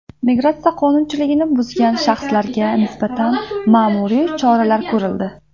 Migratsiya qonunchiligini buzgan shaxslarga nisbatan ma’muriy choralar ko‘rildi.